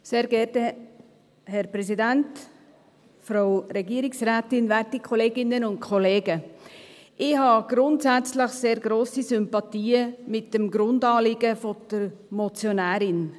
Ich habe grundsätzlich sehr grosse Sympathien mit dem Grundanliegen der Motionärin.